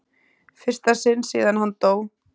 fyrsta sinn síðan hann dó.